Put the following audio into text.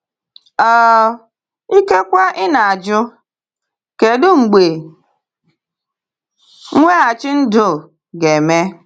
um Ikekwe ị na-ajụ: ‘Kedu mgbe mweghachi ndụ ga-eme?’